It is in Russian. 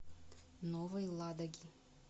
новой ладоги